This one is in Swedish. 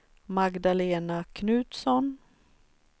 Magdalena Knutsson